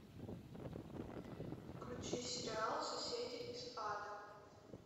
включи сериал соседи из ада